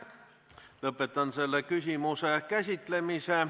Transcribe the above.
Lõpetan selle küsimuse käsitlemise.